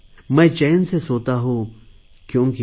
मैं चैन से सोता हूँ क्योंकि